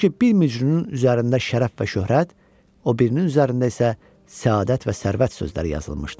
Çünki bir mücrünün üzərində şərəf və şöhrət, o birinin üzərində isə səadət və sərvət sözləri yazılmışdı.